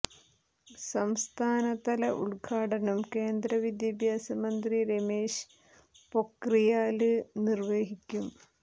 സംസ്ഥാന തല ഉദ്ഘാടനം കേന്ദ്ര വിദ്യാഭ്യാസ മന്ത്രി രമേശ് പൊക്രിയാല് നിര്വഹിക്കും